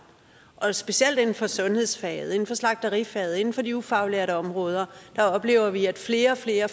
og specielt inden for sundhedsfaget inden for slagterifaget og inden for de ufaglærte områder oplever vi at flere og flere